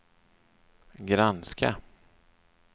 granska